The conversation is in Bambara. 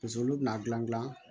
Paseke olu bɛna gilan gilan